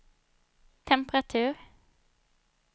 temperatur